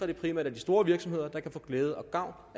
det primært er de store virksomheder der kan få glæde og gavn